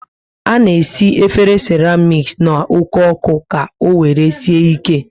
Ana esi efere seramic n' oke oku ka owere sie ike